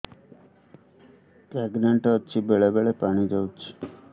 pregnant ଅଛି ବେଳେ ବେଳେ ପାଣି ଯାଉଛି